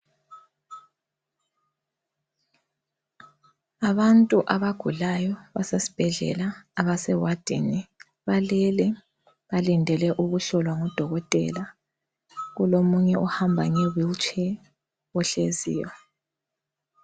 Abantu abagulayo basesibhedlela. Abasewadini balele balindele ukuhlolwa ngudokotela kulomunye ohamba ngeWheelchair ohleziyo.